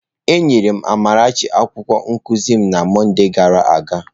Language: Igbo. Enyere m Amarachi akwụkwọ nkuzi m na Mọnde gara aga.